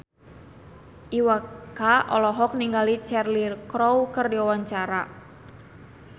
Iwa K olohok ningali Cheryl Crow keur diwawancara